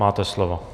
Máte slovo.